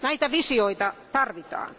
Näitä visioita tarvitaan.